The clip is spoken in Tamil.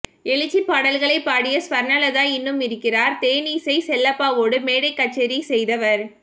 எழுச்சிப் பாடல்களைப் பாடிய ஸ்வர்ணலதா இன்னும் இருக்கிறார் தேனிசை செல்லப்பாவோடு மேடைக் கச்சேரி செய்தவர்